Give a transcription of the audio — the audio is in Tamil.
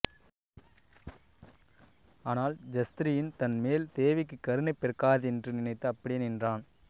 ஆனால் க்ஷத்ரியன் தன் மேல் தேவிக்கு கருணை பிறக்காதென்று நினைத்து அப்படியே நின்றான்